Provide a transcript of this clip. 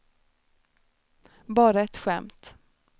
bara ett skämt